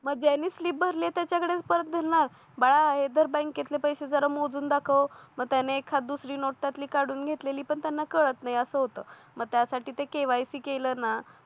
मग ज्यांनी स्लीप भरले आहे त्याच्याकडेच परत जाणार बाळा आहे तर बँकेतले पैसे जरा मोजून दाखव मग त्याने एखाद दुसरी नोट त्यातली काढून घेतलेली पण त्यांना कळत नाही असं होतं मग त्यासाठी ते KYC केलं ना